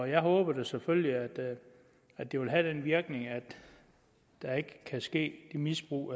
jeg håber da selvfølgelig at det vil have den virkning at der ikke kan ske det misbrug